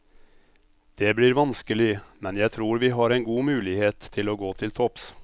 Det blir vanskelig, men jeg tror vi har en god mulighet til å gå til topps.